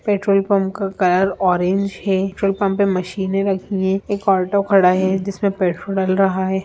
Petrol pump का colour orange है petrol pump पे मशीने रखी है एक ऑटो खड़ा है जिसमें पेट्रोल डल रहा है।